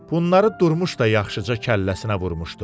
Bunları Durmuş da yaxşıca kəlləsinə vurmuşdu.